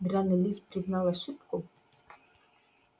драный лис признал ошибку